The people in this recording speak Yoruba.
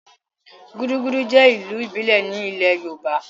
Gudugudu jẹ́ ìlù ìbílẹ̀ ní ilẹ̀ yoòbá